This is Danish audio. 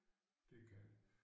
Det kan